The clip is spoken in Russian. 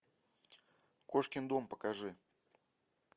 кошкин дом покажи